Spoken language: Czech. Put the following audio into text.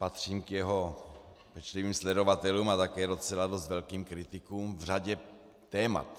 Patřím k jeho pečlivým sledovatelům a také docela dost velkým kritikům v řadě témat.